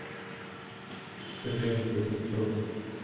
жене кузнецову